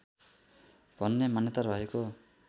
भन्ने मान्यता रहेको